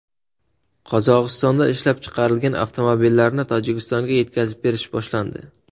Qozog‘istonda ishlab chiqarilgan avtomobillarni Tojikistonga yetkazib berish boshlandi.